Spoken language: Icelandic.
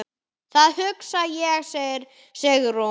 Það hugsa ég, segir Sigrún.